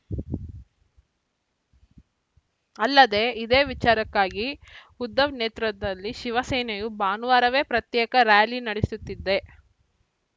ಅಲ್ಲದೆ ಇದೇ ವಿಚಾರಕ್ಕಾಗಿ ಉದ್ಧವ್‌ ನೇತೃತ್ವದಲ್ಲಿ ಶಿವಸೇನೆಯು ಭಾನುವಾರವೇ ಪ್ರತ್ಯೇಕ ರ್ಯಾಲಿ ನಡೆಸುತ್ತಿದೆ